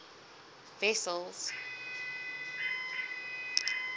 wessels